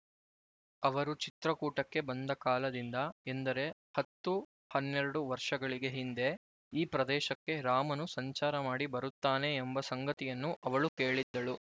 ಅವರು ಚಿತ್ರಕೂಟಕ್ಕೆ ಬಂದ ಕಾಲದಿಂದ ಎಂದರೆ ಹತ್ತು ಹನ್ನೆರಡು ವರ್ಷಗಳಿಗೆ ಹಿಂದೆ ಈ ಪ್ರದೇಶಕ್ಕೆ ರಾಮನು ಸಂಚಾರ ಮಾಡಿ ಬರುತ್ತಾನೆ ಎಂಬ ಸಂಗತಿಯನ್ನು ಅವಳು ಕೇಳಿದ್ದಳು